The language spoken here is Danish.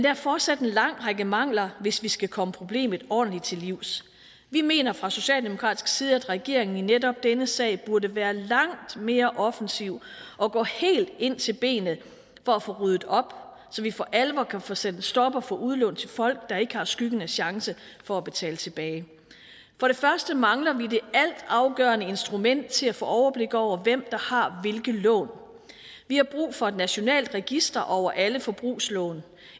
er fortsat en lang række mangler hvis vi skal komme problemet ordentligt til livs vi mener fra socialdemokratisk side at regeringen i netop denne sag burde være langt mere offensiv og gå helt ind til benet for at få ryddet op så vi for alvor kan få sat en stopper for udlån til folk der ikke har skyggen af chance for at betale tilbage for det første mangler vi det altafgørende instrument til at få overblik over hvem der har hvilke lån vi har brug for et nationalt register over alle forbrugslån